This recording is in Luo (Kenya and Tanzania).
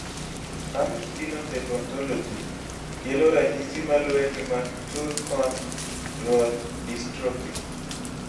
Humn phenotype Ontology kelo ranyisi malue gi mag tur Cone rod dystrophy